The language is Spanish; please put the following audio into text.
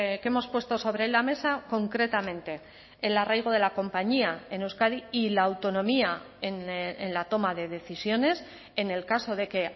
que hemos puesto sobre la mesa concretamente el arraigo de la compañía en euskadi y la autonomía en la toma de decisiones en el caso de que